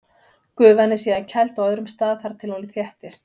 Gufan er síðan kæld á öðrum stað þar til hún þéttist.